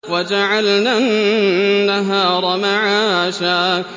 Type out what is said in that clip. وَجَعَلْنَا النَّهَارَ مَعَاشًا